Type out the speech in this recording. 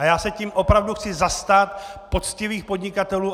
A já se tím opravdu chci zastat poctivých podnikatelů.